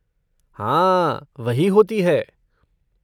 हाँ, वही होती है।